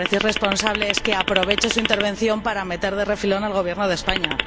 Lo que me parece irresponsable es que aproveche su intervención para meter de refilón al Gobierno de España.